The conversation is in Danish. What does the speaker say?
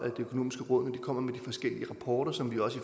det økonomiske råd når kommer med de forskellige rapporter som vi også